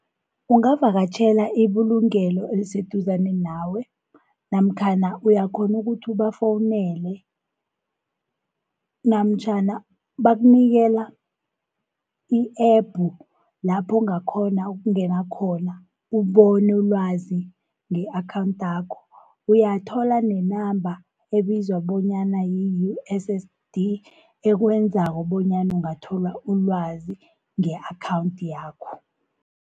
Ungavakatjhela ibulungelo eliseduzane nawe, namkhana uyakghona ukuthi ubafowunele, namtjhana bakunikela i-app lapho ungakghona ukungena khona ubone ilwazi nge-akhawunthakho. Uyathola nenamba ebizwa bonyana yi-U_S_S_D ekwenzako bonyana ungathola ilwazi nge-akhawunthi yakho.